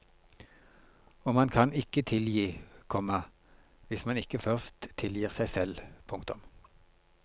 Og man kan ikke tilgi, komma hvis man ikke først tilgir seg selv. punktum